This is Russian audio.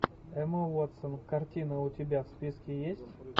эмма уотсон картина у тебя в списке есть